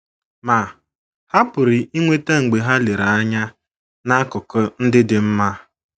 Ma, ha pụrụ inweta mgbe ha lere anya n’akụkụ ndị dị mma.